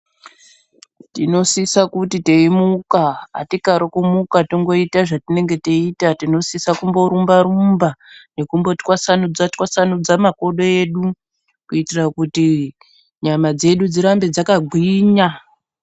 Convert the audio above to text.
Tinosisa kuti teimuka hatikarikumuka tongoita zvatinenge teiita tinonisisa kumborumba rumba nekumbotwasanudza twasanudza makodo edu kuitira kuti nyama dzedu dzirambe dzakagwinya